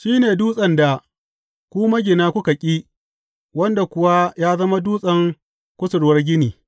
Shi ne, dutsen da ku magina kuka ƙi, wanda kuwa ya zama dutsen kusurwar gini.’